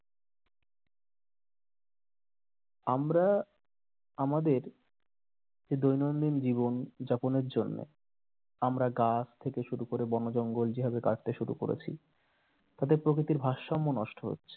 আমরা আমাদের যে দৈনন্দিন জীবন যাপনের জন্য আমরা গাছ থেকে শুরু করে বনজঙ্গল যেভাবে কাটতে শুরু করেছি তাতে প্রকৃতির ভারসাম্য নষ্ট হচ্ছে